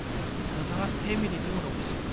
-नोंथाङा से मिनिटनि उनाव बुजिगोन।